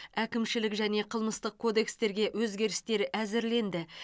әкімшілік және қылмыстық кодекстерге өзгерістер әзірленді